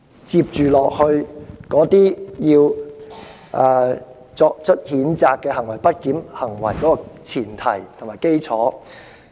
這是她聲稱的不檢行為的前提和基礎。